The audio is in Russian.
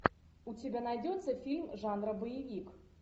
у тебя найдется фильм жанра боевик